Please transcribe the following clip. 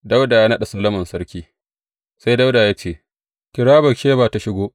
Dawuda ya naɗa Solomon Sarki Sai Dawuda ya ce, Kira Batsheba tă shiga.